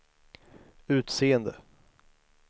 utseende